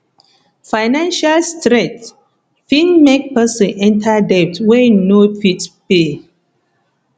financial strain fit make person enter debt wey im no fit pay